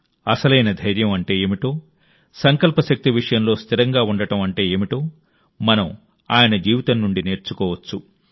అసలైన ధైర్యం అంటే ఏమిటో సంకల్ప శక్తి విషయంలో స్థిరంగా ఉండటం అంటే ఏమిటో మనం ఆయన జీవితం నుండి నేర్చుకోవచ్చు